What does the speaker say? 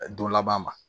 Don laban ma